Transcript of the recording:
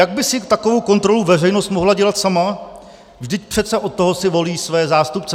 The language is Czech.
Jak by si takovou kontrolu veřejnost mohla dělat sama, vždyť přece od toho si volí své zástupce?